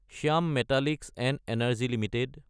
Shyam metallics & energy Ltd